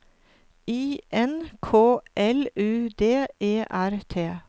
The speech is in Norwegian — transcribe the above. I N K L U D E R T